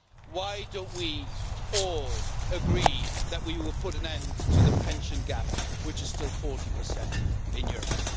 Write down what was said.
Why don't we all agree that we will put an end to the pension gap, which is still 40 in Europe?